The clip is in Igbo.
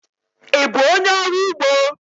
Ị bụ onyé ọrụ ugbo?